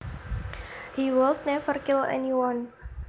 He would never kill anyone